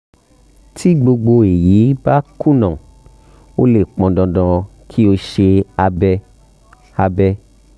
tí gbogbo èyí bá kùnà ó lè pọn dandan kí o ṣe abẹ́ abẹ́